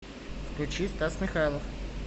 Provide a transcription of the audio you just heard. включи стас михайлов